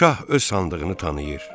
Şah öz sandığını tanıyır.